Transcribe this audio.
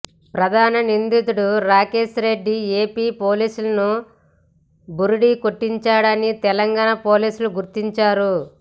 ప్రధాన నిందితుడు రాకేష్రెడ్డి ఏపీ పోలీసులను బురిడి కొట్టించాడని తెలంగాణ పోలీసులు గుర్తించారు